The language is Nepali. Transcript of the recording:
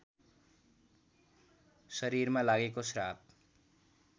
शरीरमा लागेको श्राप